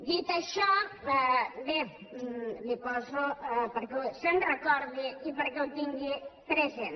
dit això bé li ho poso perquè se’n recordi i perquè ho tingui present